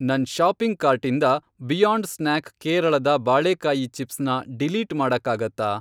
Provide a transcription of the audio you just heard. ನನ್ ಷಾಪಿಂಗ್ ಕಾರ್ಟಿಂದ beyond snack ಕೇರಳದ ಬಾಳೇಕಾಯಿ ಚಿಪ್ಸ್ ನ ಡಿಲೀಟ್ ಮಾಡಕ್ಕಾಗತ್ತಾ?